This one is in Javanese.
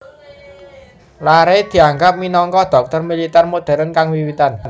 Larrey dianggep minangka dhokter militer modern kang wiwitan